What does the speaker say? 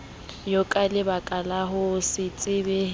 yonaka lebakala ho se tshepehe